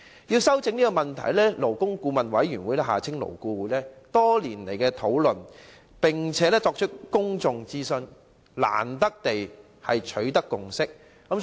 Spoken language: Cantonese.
為糾正這個問題，勞工顧問委員會曾多番討論，並作出公眾諮詢，終於取得共識。